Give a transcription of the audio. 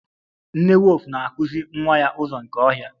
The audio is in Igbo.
Nne wulfu na-akụzi nwa ya ụzọ nke ọhịa.